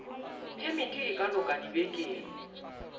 phemiti e ka loka dibekeng